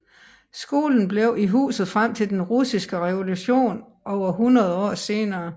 Skolen blev i huset frem til den russiske revolution over hundrede år senere